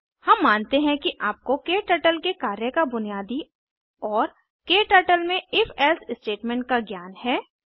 हम मानते हैं कि आपको क्टर्टल के कार्य का बुनियादी और क्टर्टल में if एल्से स्टेटमेंट का ज्ञान है